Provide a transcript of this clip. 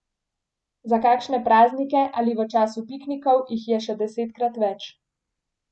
Za kakšne praznike ali v času piknikov jih je še desetkrat več.